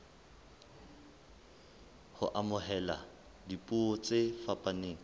ho amohela dipuo tse fapaneng